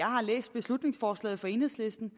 har læst beslutningsforslaget fra enhedslisten